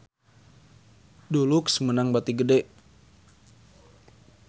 Dulux meunang bati gede